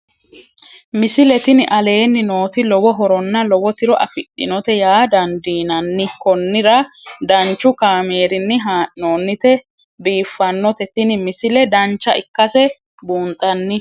misile tini aleenni nooti lowo horonna lowo tiro afidhinote yaa dandiinanni konnira danchu kaameerinni haa'noonnite biiffannote tini misile dancha ikkase buunxanni